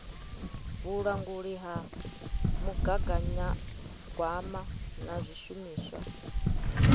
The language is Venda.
vhulanguli ha mugaganyagwama na zwishumiswa